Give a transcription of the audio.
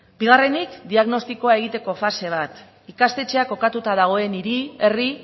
bigarrenik diagnostikoa egiteko fase bat ikastetxeak kokatu dagoen hiri herri